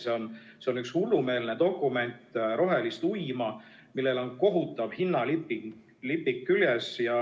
See on üks hullumeelne dokument rohelist uima, millel on kohutav hinnalipik küljes.